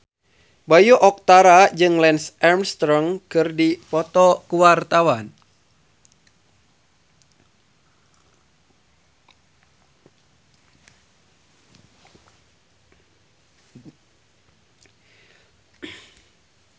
Bayu Octara jeung Lance Armstrong keur dipoto ku wartawan